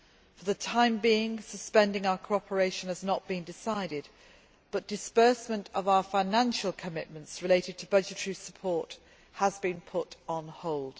For the time being, suspending our cooperation has not been decided, but disbursement of our financial commitments related to budgetary support has been put on hold.